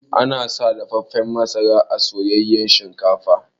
Ana sa dafaffan masara a soyayyan shinkafa.